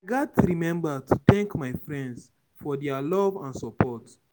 remember to thank my friends for their love and support.